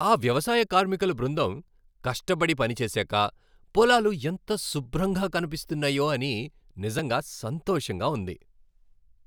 ఆ వ్యవసాయ కార్మికుల బృందం కష్టపడి పనిచేశాక పొలాలు ఎంత శుభ్రంగా కనిపిస్తున్నాయో అని నిజంగా సంతోషంగా ఉంది.